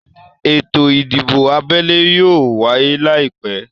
Ètò ìdìbò abẹ́lé yóò wáyé láìpẹ́